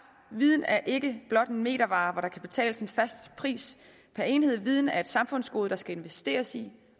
viden er ikke blot en metervare som der kan betales en fast pris per enhed for viden er et samfundsgode der skal investeres i